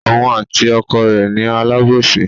Òun àti ọkọ rẹ̀ ni alábòsí.